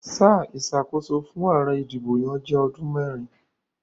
Sáà ìsàkóso fún àare adìbòyàn jé odún mérin